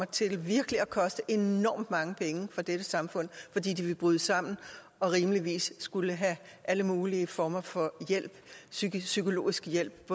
til virkelig at koste enormt mange penge for dette samfund fordi de vil bryde sammen og rimeligvis skulle have alle mulige former for psykologisk hjælp